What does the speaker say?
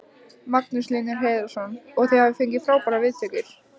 Magnús Hlynur Hreiðarsson: Og þið hafið fengið frábærar viðtökur?